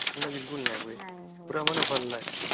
ଗନ୍ଧି ବିଲକୁଲ ନାଇଁ ହୁଏ ପୁରା ମାନେ ଭଲ ଲାଗିଁସି